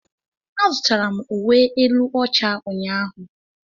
Azụtara m uwe elu ọcha ụnyaahụ.